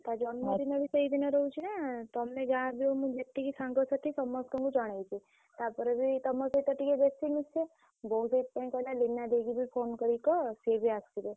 ତା ଜନ୍ମ ଦିନ ବି ସେଇ ଦିନ ରହୁଛି ନା ତମେ ଯାହା ବି ହଉ ମୁଁ ଯେତିକି ସାଙ୍ଗ ସାଥୀ ସମସ୍ତଙ୍କୁ ଜଣେଇଛି